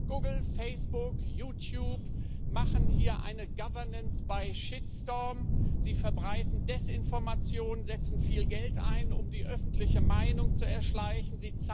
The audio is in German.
Google, Facebook, YouTube machen hier eine sie verbreiten Desinformation, setzen viel Geld ein, um die öffentliche Meinung zu erschleichen.